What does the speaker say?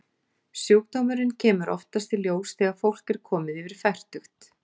Sjúkdómurinn kemur oftast í ljós þegar fólk er komið yfir fertugt.